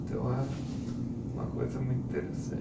Então é uma coisa muito